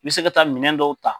bɛ se ka taa minɛn dɔw ta.